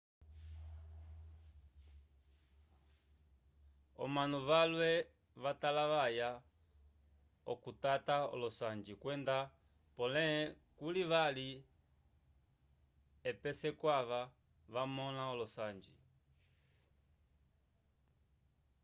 omanu valwe vatalavaya k'okutata olosanji kwenda pole kuli vali epese kwava vamõla olosanji